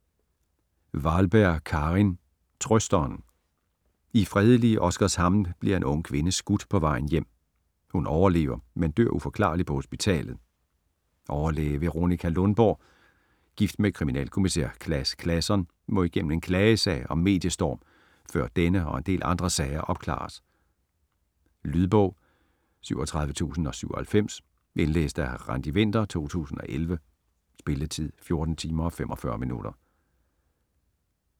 Wahlberg, Karin: Trøsteren I fredelige Oskarshamn bliver en ung kvinde skudt på vej hjem. Hun overlever men dør uforklarligt på hospitalet. Overlæge Veronika Lundborg, gift med kriminalkommissær Claus Claesson, må igennem en klagesag og mediestorm, før denne og en del andre sager opklares. Lydbog 37097 Indlæst af Randi Winther, 2011. Spilletid: 14 timer, 45 minutter.